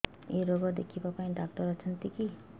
ଏଇ ରୋଗ ଦେଖିବା ପାଇଁ ଡ଼ାକ୍ତର ଅଛନ୍ତି କି